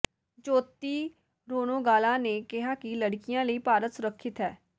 ਜੋਤੀ ਰੋਨੋਗਾਲਾ ਨੇ ਕਿਹਾ ਕਿ ਲੜਕੀਆਂ ਲਈ ਭਾਰਤ ਸੁਰੱਖਿਅਤ ਹੈ